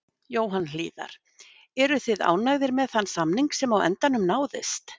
Jóhann Hlíðar: Eruð þið ánægðir með þann samning sem á endanum náðist?